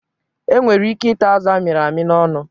E nwere ike ịta azụ a mịrị amị n'ọnụ.